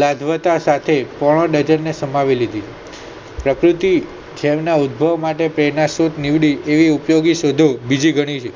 લગાવતા સાથે પોણો dozen ને સમાવી લીધી અતિથિ એવી ઉપયોગી શોધો બીજી ઘણી છે